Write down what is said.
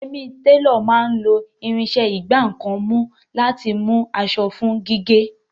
Yẹmì, télọ̀ máa ń lo irinṣẹ́ ìgbá nǹkan mú láti mú aṣọ fún gígé